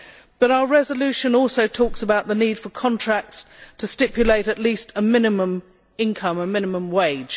But our resolution also talks about the need for contracts to stipulate at least a minimum income, a minimum wage.